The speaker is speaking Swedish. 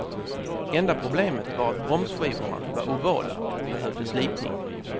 Enda problemet var att bromsskivorna var ovala och behövde slipning.